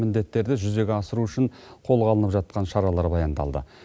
міндеттерді жүзеге асыру үшін қолға алынып жатқан шаралар баяндалды